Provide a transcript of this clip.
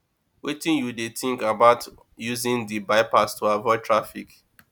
wetin you dey think about using di bypass to avoid traffic